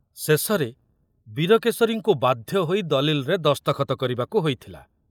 ଶେଷରେ ବୀରକେଶରୀଙ୍କୁ ବାଧ୍ୟ ହୋଇ ଦଲିଲରେ ଦସ୍ତଖତ କରିବାକୁ ହୋଇଥିଲା।